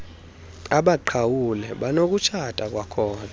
abaqhawule banokutshata kwakhona